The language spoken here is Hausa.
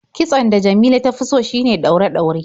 Kitson da Jamila ta fi so shine ɗaure-ɗaure.